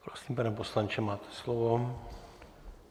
Prosím, pane poslanče, máte slovo.